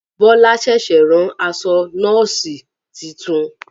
Bọlá ṣẹ̀ṣẹ̀ rán aṣọ Nọ́ọ̀sì titun